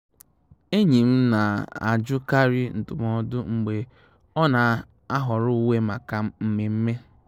Ényí m ná-àjụ́kárí ndụ́mọ́dụ́ mgbé ọ́ ná-àhọ́rọ́ úwé máká mmémmé.